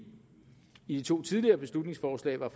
i de to tidligere beslutningsforslag var